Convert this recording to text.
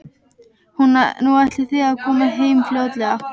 Nú, ætlið þið að koma heim fljótlega?